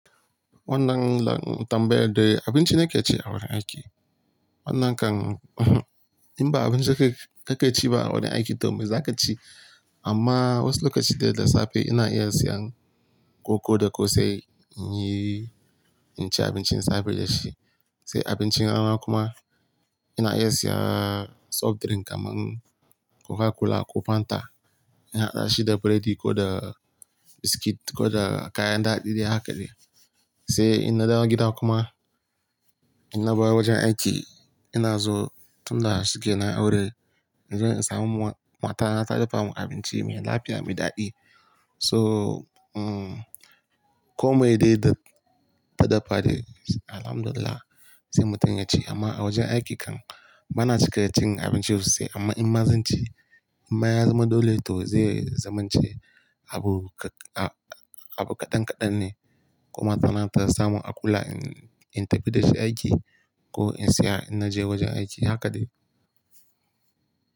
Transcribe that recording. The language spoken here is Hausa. Wannan kam tambayar dai abinci nake ci a wurin aiki. Wannan kan in ba abinci ka kake ci ba a wurin aiki to me zaka ci? Amma wasu lokaci dai da safe ina iya siyan koko da kose in yi, in ci abincin safe da shi. Sai abincin rana kuma ina iya siyan soft drink kamar Coca-Cola ko Fanta. Ina hada shi da burodi ko da biskit ko da kayan ɗaɗi dai haka dai. Sai in na dawo gida kuma in na bar wajen aiki ina zo tun da shuke na aure. In zo in samu matar ta dafa mun abinci mai lafiya, mai daɗi. So, komai dai da ta dafa dai Alhamdulillah sai mu tana ci. Amma a wajen aiki kan bana cika cin abinci sosai amma in ma zan ci, in ma ya zama dole to zai zamance abu, abu kaɗan kaɗan ne. Ko mata na ta samun a kula in tafi da shi aiki ko in saya in naje wajen aiki haka dai.